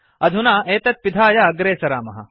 अधुना एतत् पिधाय अग्रे सरामः